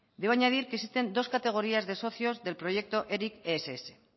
debo añadir que existen dos categorías de socios del proyecto eric ess